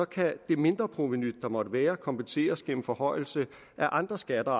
kan mindreprovenuet kompenseres gennem forhøjelser af andre skatter